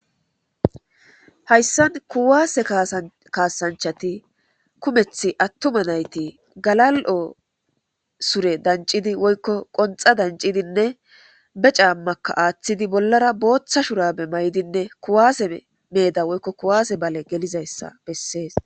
Hayssan kuwaase kaasanchati kumethi attuma nayti galal'o sure dancidi woykko qonxa dancidinne be caammakka aaththidi bollara booththa shurabe may'dinne kuwaase meeda woykko kuwaase bale gelizayssa bessees